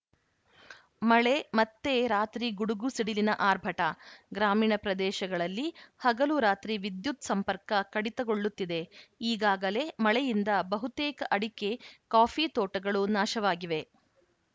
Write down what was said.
ಮಳೆ ಮತ್ತೆ ರಾತ್ರಿ ಗುಡುಗು ಸಿಡಿಲಿನ ಆರ್ಭಟ ಗ್ರಾಮೀಣ ಪ್ರದೇಶಗಳಲ್ಲಿ ಹಗಲು ರಾತ್ರಿ ವಿದ್ಯುತ್‌ ಸಂಪರ್ಕ ಕಡಿತಗೊಳ್ಳುತ್ತಿದೆ ಈಗಾಗಲೇ ಮಳೆಯಿಂದ ಬಹುತೇಕ ಅಡಿಕೆ ಕಾಫಿ ತೋಟಗಳು ನಾಶವಾಗಿವೆ